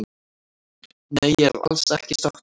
Nei ég er alls ekki sáttur